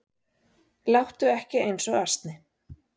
Láttu ekki eins og asni